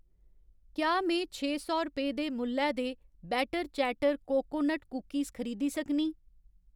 क्या में छे सौ रपेऽ दे मुल्लै दे बैटर चैटर कोकोनट कुकिस खरीदी सकनीं ?